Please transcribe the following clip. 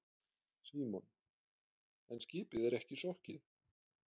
Símon: En skipið er ekki sokkið?